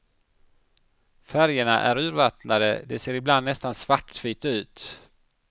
Färgerna är urvattnade, det ser ibland nästan svartvitt ut.